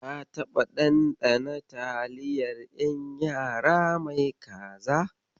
Ka taɓa ɗanɗana taliyar ƴan yara mai kaza?